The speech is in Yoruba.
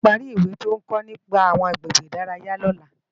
Tope má pàri iwé tó n kò nipá áwòn àgbégbé idàráyá lòlá